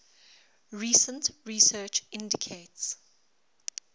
recent research indicates